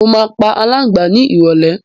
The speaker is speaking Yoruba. Mo máa pa alàǹgbà ni ìrólé